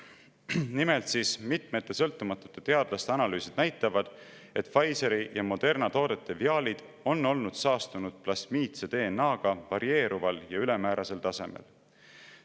Nimelt, mitmete sõltumatute teadlaste analüüsid näitavad, et Pfizeri ja Moderna toodete viaalid on olnud saastunud plasmiidse DNA-ga varieeruval ja ülemäärasel tasemel.